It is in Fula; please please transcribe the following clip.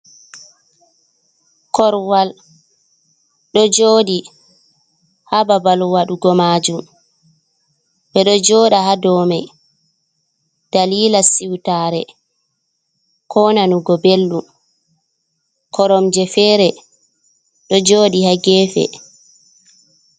Korwal ɗo jodi ha babal waɗugo majum ɓeɗo joɗa ha domai dalila siutare ko nanugo belɗum, korom je fere ɗo joɗi ha gefe.